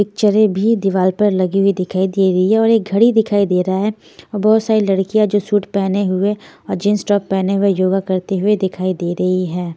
पिक्चरें भी दीवार पर लगी हुई दिखाई दे रही है और एक घड़ी दिखाई दे रहा है और बहुत सारी लड़कियाँ जो सूट पहने हुए और जींस टॉप पहने हुए योगा करते हुए दिखाई दे रही है।